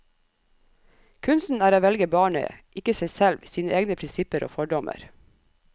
Kunsten er å velge barnet, ikke seg selv, sine egne prinsipper og fordommer.